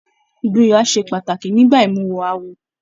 Ìgboyà ṣe pàtàkì nígbà imuwọ̀ awo.